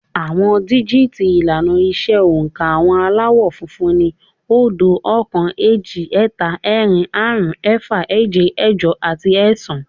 Àwọn díjìtì ìlànà ìṣe oǹkà àwọn Aláwọ̀ funfun ni, óódo, oókan, éjì, ẹ́ta, ẹ́rin, áàrún, ẹ́fà, éje, ẹ́jọ àti ẹ́ẹ̀sán